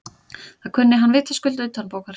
Það kunni hann vitaskuld utanbókar.